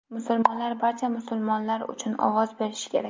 Musulmonlar barcha musulmonlar uchun ovoz berishi kerak.